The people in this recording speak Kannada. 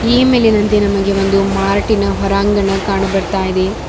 ಈ ಮೇಲಿನಂತೆ ನಮಗೆ ಒಂದು ಮಾರ್ಟಿನ ಹೊರಾಂಗಣ ಕಾಣು ಬರ್ತಾ ಇದೆ.